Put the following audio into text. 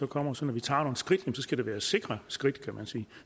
kommer så når vi tager nogle skridt skal det være sikre skridt